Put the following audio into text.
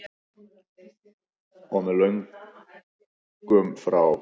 Og með lögum frá